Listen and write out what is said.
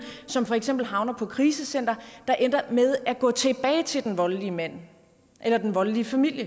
som for eksempel havner på krisecentre der ender med at gå tilbage til den voldelige mand eller den voldelige familie